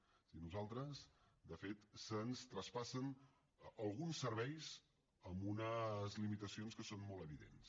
o sigui a nosaltres de fet se’ns traspassen alguns serveis amb unes limitacions que són molt evidents